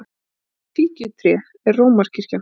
Og það fíkjutré er Rómarkirkjan!